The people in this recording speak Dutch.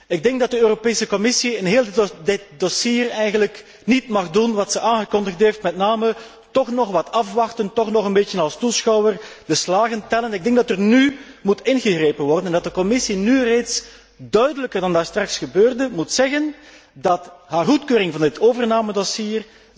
Ik denk dat de Europese Commissie in heel dit dossier eigenlijk niet mag doen wat ze aangekondigd heeft, met name toch nog wat afwachten, toch nog een beetje als toeschouwer de slagen tellen. Ik denk dat er nú ingegrepen moet worden en dat de Commissie nu reeds duidelijker dan daarstraks gebeurde, moet zeggen dat haar goedkeuring van dit overnamedossier